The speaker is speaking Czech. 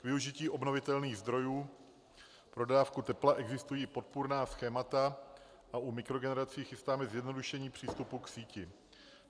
K využití obnovitelných zdrojů pro dodávku tepla existují podpůrná schémata a u mikrogenerací chystáme zjednodušení přístupu k síti.